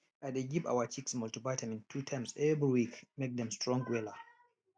i dey give our chicks multivitamin two times every week make dem strong wella